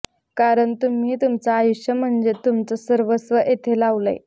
कारण तुम्ही तुमचं आयुष्य म्हणजे तुमचं सर्वस्व इथं लावलंय